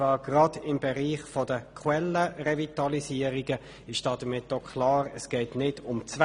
Gerade im Bereich der QuellenRevitalisierungen geht es nicht um Zwänge.